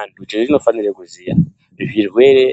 Antu chetinofanire kuziya zvirwere